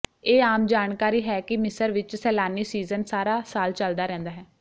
ਇਹ ਆਮ ਜਾਣਕਾਰੀ ਹੈ ਕਿ ਮਿਸਰ ਵਿਚ ਸੈਲਾਨੀ ਸੀਜ਼ਨ ਸਾਰਾ ਸਾਲ ਚੱਲਦਾ ਰਹਿੰਦਾ ਹੈ